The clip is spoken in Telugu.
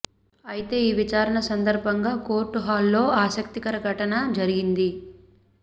అయితే ఈ విచారణ సందర్భంగా కోర్టు హాల్లో ఆసక్తికర ఘటన జరిగింది